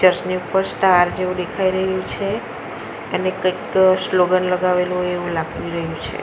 Plus ની ઉપર star જેવુ દેખાય રહ્યું છે અને કંઈક સ્લોગન લગાવેલું હોય એવું લાગતું રહ્યું છે.